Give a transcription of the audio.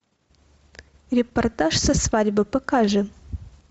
репортаж со свадьбы покажи